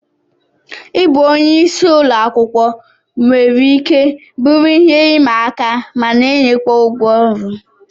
Ịbụ onye isi ụlọ akwụkwọ nwere ike bụrụ ihe ịma aka mana enyekwa ụgwọ ọrụ